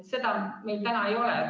Seda meil ei ole.